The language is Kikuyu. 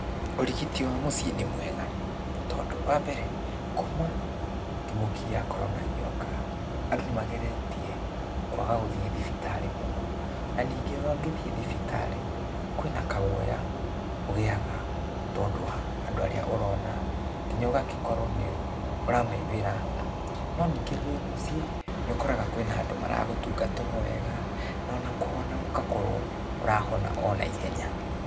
Ũrigiti wa mũciĩ nĩ mwega, tondũ wambere, kuma kĩmũki gĩa korona gĩoka, andũ nĩmageretie, kwaga gũthiĩ thibitarĩ mũno, na ningĩ wagĩthiĩ thibitarĩ, kwĩna kaguoya, ũgĩaga tondũ wa andũ arĩa ũrona, kinya ũgagĩkorwo nĩũramaiguĩra tha. No ningĩ wĩ mũciĩ, nĩũkoraga kwĩna andũ maragũtungata o wega, na ona kũhona gũgakorũo, ũrahona onaihenya.